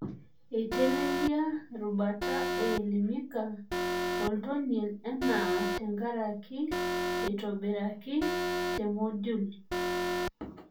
Eitelelia erubata eElimika oltonie naa tenkaraki neitobiraki te Moodle.